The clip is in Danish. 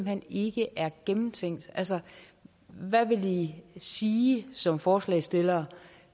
hen ikke er gennemtænkt altså hvad vil i i som forslagsstillere